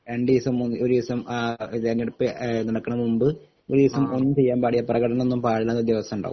രണ്ടീസം ഒരീസം അഹ് തെരഞ്ഞെടുപ്പ് എഹ് നടക്കണ മുമ്പ് ഒരീസം ഒന്നും ചെയ്യാൻ പാടില്ല പ്രകടനം ഒന്നും പാടില്ലെന്ന് ഉള്ള ഒരു ദിവസം ഉണ്ടാവും